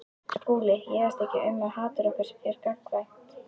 SKÚLI: Ég efast ekki um að hatur okkar er gagnkvæmt.